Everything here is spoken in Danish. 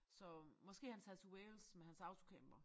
Så måske han tager til Wales med hans autocamper